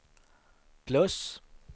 plus